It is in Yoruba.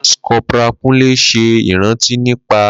Lance Corporal Kunle ṣe iranti nipa